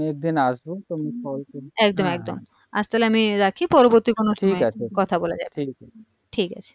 . একদম একদম আজ তাহলে আমি রাখি পরবর্তী কোনো ঠিকআছে সময়ে কথা বলা যাবে ঠিকাছে ঠিকআছে